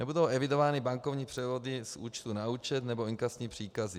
Nebudou evidovány bankovní převody z účtu na účet nebo inkasní příkazy.